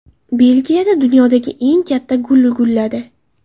Belgiyada dunyodagi eng katta gul gulladi .